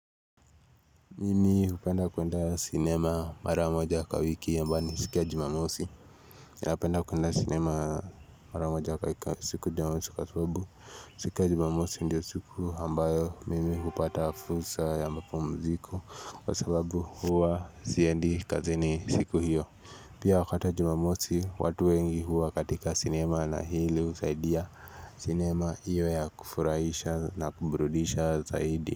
Mimi hupenda kuenda cinema maramoja kwa wiki ambayo ni siku ya jumamosi ninapenda kuenda cinema maramoja kwa wiki siku jumamosi kwasababu siku ya jumamosi ndio siku ambayo mimi hupata fursa ya mapumziku kwa sababu huwa siendi kazini siku hiyo Pia wakati wa jumamosi watu wengi huwa katika cinema na hili husaidia sinema iwe ya kufurahisha na kuburudisha zaidi.